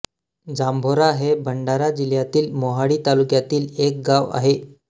जांभोरा हे भंडारा जिल्ह्यातील मोहाडी तालुक्यातील एक गाव आहे